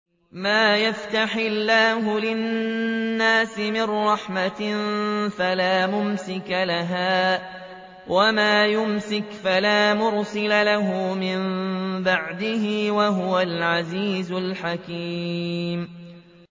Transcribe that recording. مَّا يَفْتَحِ اللَّهُ لِلنَّاسِ مِن رَّحْمَةٍ فَلَا مُمْسِكَ لَهَا ۖ وَمَا يُمْسِكْ فَلَا مُرْسِلَ لَهُ مِن بَعْدِهِ ۚ وَهُوَ الْعَزِيزُ الْحَكِيمُ